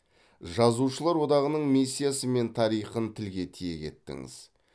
жазушылар одағының миссиясы мен тарихын тілге тиек еттіңіз